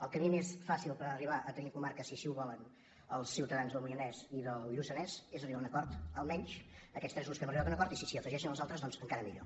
el camí més fàcil per arribar a tenir comarca si així ho volen els ciutadans del moianès i del lluçanès és arribar a un acord almenys aquests tres grups que hem arribat a un acord i s’hi afegeixen els altres doncs encara millor